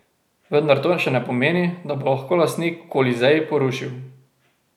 Vendar to še ne pomeni, da bo lahko lastnik Kolizej porušil.